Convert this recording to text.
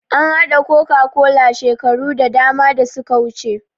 An haɗa coca-cola shekaru da dama da suka wuce